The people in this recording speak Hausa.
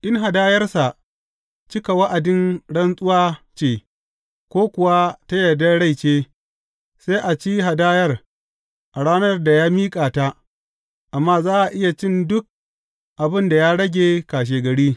In hadayarsa cika wa’adin rantsuwa ce ko kuwa ta yardar rai ce, sai a ci hadayar a ranar da ya miƙa ta, amma za a iya cin duk abin da ya rage kashegari.